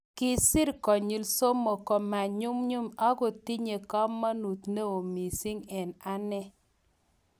Kisiir konyil somok komanyumnyum, ak kotinyei kamanut ne o mising eng ane.